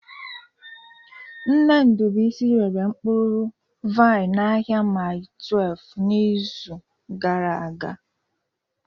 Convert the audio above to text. Nne Ndubuisi rere mkpụrụ vaịn n'ahịa Mile 12 n'izu gara aga